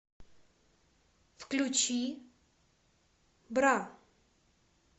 включи бра